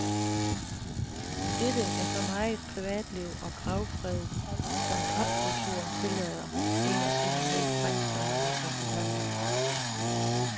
Dette er så meget privatliv og gravfred som popkulturen tillader en af sine mest fremtrædende repræsentanter.